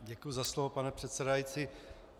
Děkuji za slovo, pane předsedající.